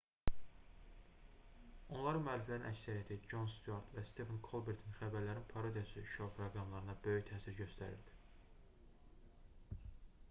onların müəlliflərinin əksəriyyəti con stüart və stefen kolbertin xəbərlərin parodiyası şou proqramlarına böyük təsir göstərirdi